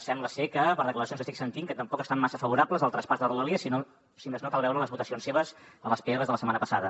sembla ser per declaracions que estic sentint que tampoc estan massa favorables al traspàs de rodalies si més no cal veure les votacions seves a les prs de la setmana passada